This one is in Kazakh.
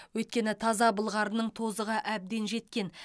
өйткені таза былғарының тозығы әбден жеткен